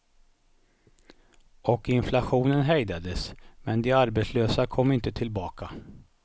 Och inflationen hejdades, men de arbetslösa kom inte tillbaka.